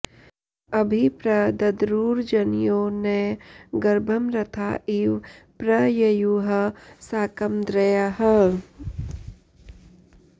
अ॒भि प्र द॑द्रु॒र्जन॑यो॒ न गर्भं॒ रथा॑ इव॒ प्र य॑युः सा॒कमद्र॑यः